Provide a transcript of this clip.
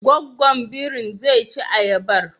Gwaggwan birin zai ci ayabar?